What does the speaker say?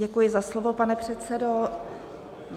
Děkuji za slovo, pane předsedo.